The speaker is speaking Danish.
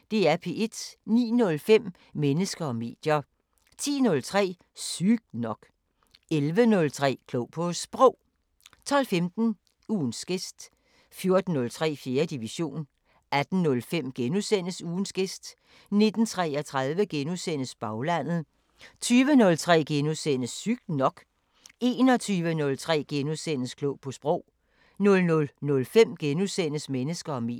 09:05: Mennesker og medier 10:03: Sygt nok 11:03: Klog på Sprog 12:15: Ugens gæst 14:03: 4. division 18:05: Ugens gæst * 19:33: Baglandet * 20:03: Sygt nok * 21:03: Klog på Sprog * 00:05: Mennesker og medier *